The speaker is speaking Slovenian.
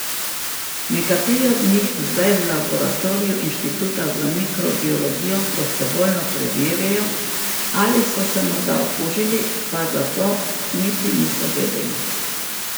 Nekateri od njih zdaj v laboratoriju inštituta za mikrobiologijo prostovoljno preverjajo, ali so se morda okužili, pa za to niti niso vedeli.